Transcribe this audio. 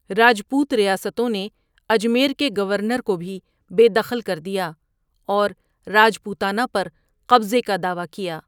راجپوت ریاستوں نے اجمیر کے گورنر کو بھی بے دخل کر دیا اور راجپوتانہ پر قبضے کا دعویٰ کیا۔